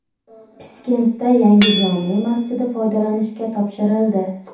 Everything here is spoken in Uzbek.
Piskentda yangi jome masjidi foydalanishga topshirildi .